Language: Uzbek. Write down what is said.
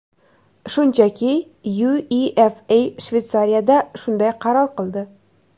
Shunchaki UEFA Shveysariyada shunday qaror qildi.